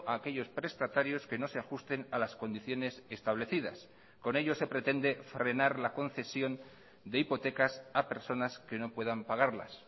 a aquellos prestatarios que no se ajusten a las condiciones establecidas con ello se pretende frenar la concesión de hipotecas a personas que no puedan pagarlas